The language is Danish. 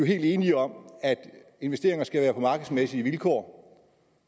helt enige om at investeringer skal være på markedsmæssige vilkår